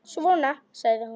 Svona, sagði hún.